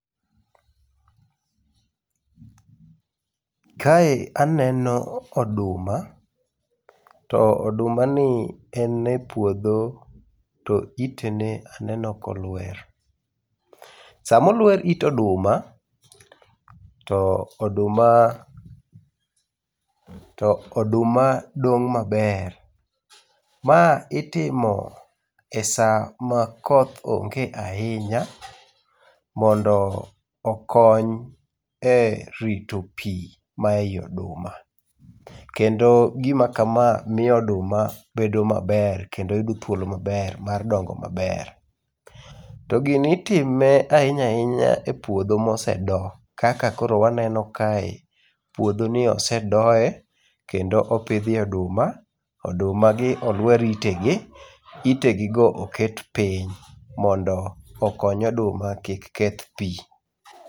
Kae aneno oduma, to odumani en e puodho, to itene aneno ka olwer. Sama olwer it oduma, to oduma dong' maber. Ma itimo e sama koth onge ahinya, mondo okony e rito pi mae oduma. Kendo gima kama miyo oduma bedo maber kendo yudo thuolo maber mar dongo maber. To gini itime ahinya ahinya e puodho mosedo, kaka koro waneno kae. Puodhoni osedoye, kendo pidhye oduma. Odumagi olwer itegi. Itegigo oket piny mondo okony oduma kik keth pi.